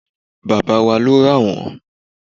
baba wa lo ra won